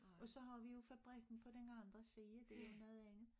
Og så har vi jo fabrikken på den anden side det jo noget andet